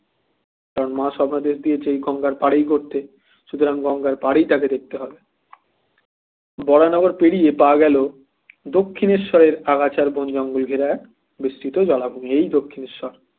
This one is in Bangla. মা স্বপ্নাদেশ দিয়েছে গঙ্গার পাড়েই করতে তো গঙ্গার পাড়ি তাকে করতে হবে বরানগর পেরিয়ে পাওয়া গেল দক্ষিণেশ্বরের আগাছার বন জঙ্গল ঘেরা বিস্তৃত জলাভূমি এই দক্ষিণেশ্বর